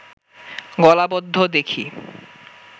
গলাবদ্ধ দেখি